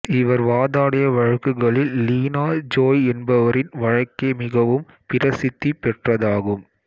இவர் வாதாடிய வழக்குகளில் லீனா ஜோய் என்பவரின் வழக்கே மிகவும் பிரசித்தி பெற்றதாகும்